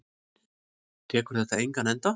Tekur þetta engan enda?